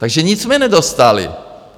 Takže nic jsme nedostali.